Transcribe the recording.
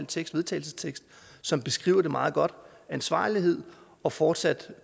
til vedtagelse som beskriver det meget godt ansvarlighed og fortsat